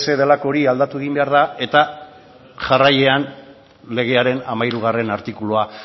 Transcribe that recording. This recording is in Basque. delako hori aldatu egin behar da eta jarraian legearen hamairu artikulua